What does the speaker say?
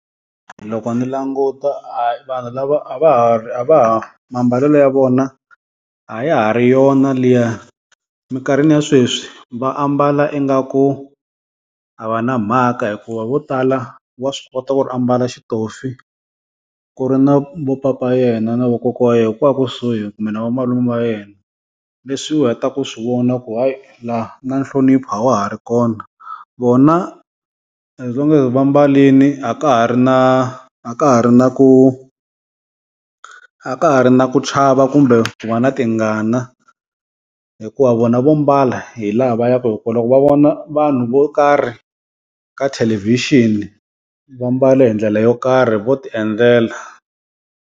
Loko ni languta vanhu lava a va ha a va ha mambalelo ya vona a ya ha ri yona liya, minkarhini ya sweswi va ambala ingaku a va na mhaka hikuva vo tala wa swi kota ku ri a mbala xitofi ku ri na vo papa yena na vokokwa wa yehe, kwala kusuhi kumbe na vamalume va yena. Leswi u heta ku swi vona ku hayi la na nhlonipho a wa ha ri kona. Vona as long as va mbalini a ka ha ri na a ka ha ri na ku a ka ha ri na ku chava kumbe ku va na tingana hikuva vona vo mbala hi laha va ya ku hi kona loko va vona vanhu vo kari ka thelevhixini va mbale hi ndlele yo karhi vo ti endlela.